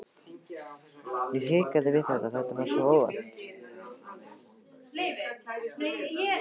Ég hikaði, þetta var svo óvænt.